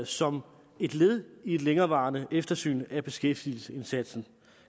som et led i et længerevarende eftersyn af beskæftigelsesindsatsen